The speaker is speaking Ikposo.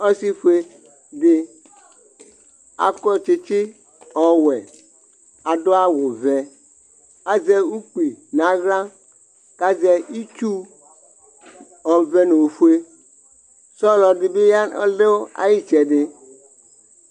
Ɔsɩfue dɩ akɔ tsɩtsɩ ɔwɛ, adʋ awʋ vɛ, azɛ ukpi nʋ aɣla kʋ azɛ itsu ɔvɛ nʋ ofue, sɔlɔ dɩ bɩ ɔdʋ ayʋ ɩtsɛdɩ